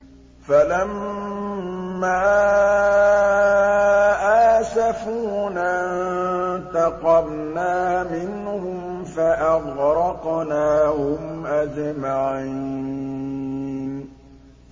فَلَمَّا آسَفُونَا انتَقَمْنَا مِنْهُمْ فَأَغْرَقْنَاهُمْ أَجْمَعِينَ